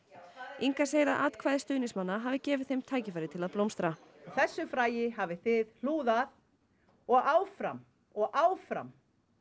Inga segir að atkvæði stuðningsmanna hafi gefið þeim tækifæri til að blómstra þessu fræi hafið þið hlúð af og áfram og áfram